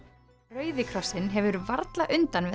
rauði krossinn hefur varla undan við